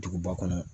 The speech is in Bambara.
Duguba kɔnɔ